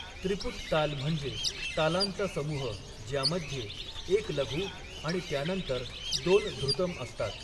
त्रिपुट ताल म्हणजे तालांचा समूह, ज्यामध्ये एक लघु आणि त्यानंतर दोन धृतम असतात.